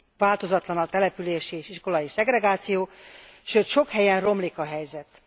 Változatlan a települési és iskolai szegregáció, sőt sok helyen romlik a helyzet.